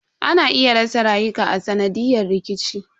Ana iya rasa rayuka a sanadiyan rikici.